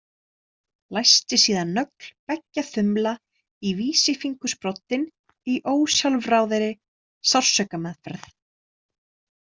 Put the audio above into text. Læsti síðan nögl beggja þumla í vísifingursbroddinn í ósjálfráðri sársaukameðferð.